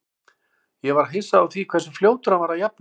Ég var hissa á því hversu fljótur hann var að jafna sig.